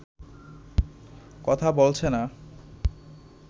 কথাই বলছে না